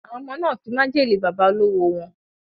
Awon omo na fi majele baba olowo won